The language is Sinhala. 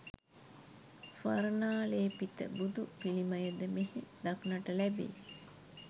ස්වර්ණාලේපිත බුදුපිළිමය ද මෙහි දක්නට ලැබේ.